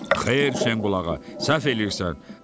Xeyr, Şenqulağa, səhv eləyirsən.